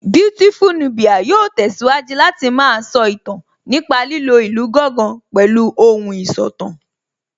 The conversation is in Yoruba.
Beautiful Nubia yóò tẹ̀síwájú Láti má a sọ ìtàn nípa lílo ìlù gángan pẹ̀lú ohùn ìsọ̀tàn